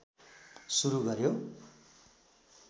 सुरु गर्यो